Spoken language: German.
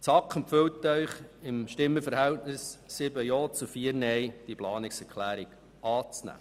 Die SAK empfiehlt Ihnen im Stimmenverhältnis von 7 Ja- zu 4 NeinStimmen, die Planungserklärung anzunehmen.